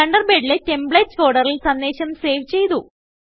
തണ്ടർബേഡിലെ templates ഫോൾഡറിൽ സന്ദേശം save ചെയ്തു